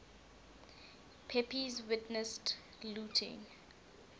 pepys witnessed looting